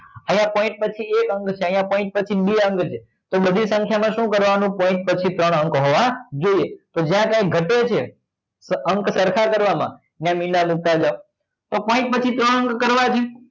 અહીંયા point પછી એક અંક છે અહીંયા point પછી બે અંક છે તો બધી સંખ્યામાં શું કરવાનું point પચીસ વાળા અંક હોવાથી જોઈએ તો જ્યાં જ્યાં ઘટે છે તો અંક સરખા કરવામાં ના મીંડા તો point પછી ત્રણ કરવાથી